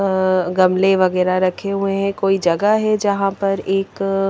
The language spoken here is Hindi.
अ गमले वगैरा रखे हुए हैं कोई जगह है जहां पर एक--